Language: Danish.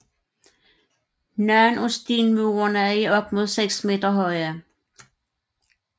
Nogle af stenmurene er op mod seks meter høje